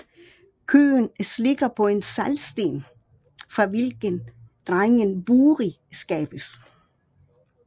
Koen slikker på en saltsten fra hvilken drengen Buri skabes